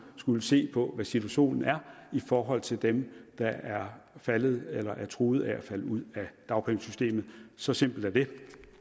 skulle se på hvad situationen er i forhold til dem der er faldet ud af eller truet af at falde ud af dagpengesystemet så simpelt er det